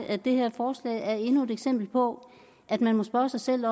at det her forslag er endnu et eksempel på at man må spørge sig selv